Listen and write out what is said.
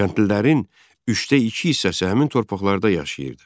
Kəndlilərin üçdə iki hissəsi həmin torpaqlarda yaşayırdı.